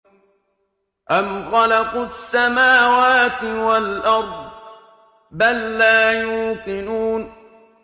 أَمْ خَلَقُوا السَّمَاوَاتِ وَالْأَرْضَ ۚ بَل لَّا يُوقِنُونَ